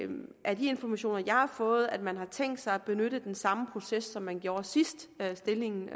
af de informationer jeg har fået at man har tænkt sig at benytte den samme proces som man gjorde sidst da stillingen